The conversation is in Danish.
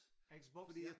Xbox ja